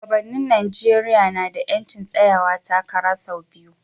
Shugabannin Najeriya na da 'yancin tsayawa takara sau biyu.